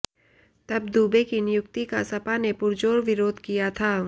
तब दुबे की नियुक्ति का सपा ने पुरजोर विरोध किया था